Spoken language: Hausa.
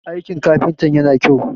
aikin kafintan yana kyau?